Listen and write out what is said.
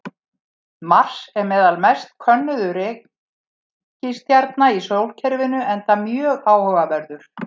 Mars er meðal mest könnuðu reikistjarna í sólkerfinu enda mjög áhugaverður.